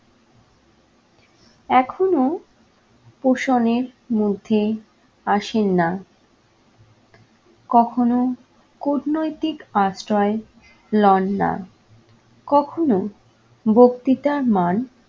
এখনো পোষণের মধ্যে আসেন না, কখনো কূটনৈতিক আশ্রয় লননা, কখনো বক্তিতার মান